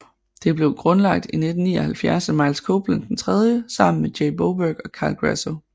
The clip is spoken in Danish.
Det blev grundlagt i 1979 af Miles Copeland III sammen med Jay Boberg og Carl Grasso